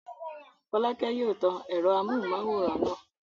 Fọ́lákẹ́ yóò tan ẹ̀rọ amóhùmáwòhán náà.